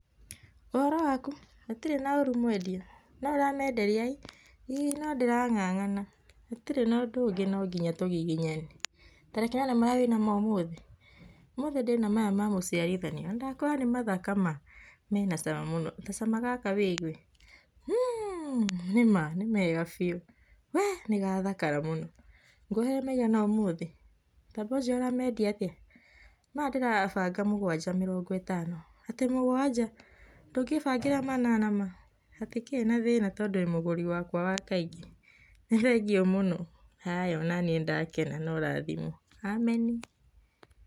''Ũhoro waku, gũtirĩ na ũrũ mwendia, noũramenderia'[ii],[ii]no ndĩrangangana gũtirĩ na ũndũ ũngĩ nonginya tũgiginyane tareke nyone marĩa wĩnamo ũmũthĩ, ũmũthĩ ndĩna maya mamũciarithanio nandakwĩra nĩmathaka ma menacama mũno tacama gaka wĩgue[mmmhhh] nĩma nemaga biũ [weeh]nĩgathakara mũno, kwohere meigana ũmũthĩ, taba ũjĩre ũrendia atĩa, maya ndĩrabanga mũgwanja mĩrongo ĩtano, atĩ mũgwanja ,ndũkĩbangira manana ma, hatĩkĩrĩ na thĩna tondu wĩ mũgũri wakwa wa kaingĩ, nĩthengio mũno haya onanĩ nĩndakena noũrathimwo. Ameni''